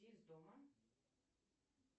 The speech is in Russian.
из дома